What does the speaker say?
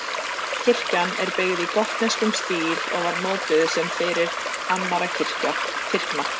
kirkjan er byggð í gotneskum stíl og var notuð sem fyrir annarra kirkna